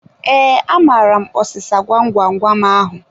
Ee, amaara m ọsịsa gwam gwam gwam ahu